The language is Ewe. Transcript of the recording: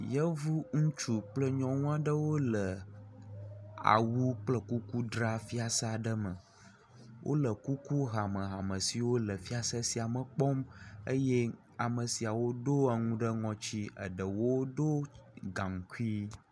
Yevu ŋutsu kple nyɔnu aɖewo le awu kple kuku dzra fiase aɖe me, wole kuku hamehame siwo le fiase sia me kpɔm eye ame siawo do enu ɖe ŋɔti eɖewo ɖɔ gaŋkui.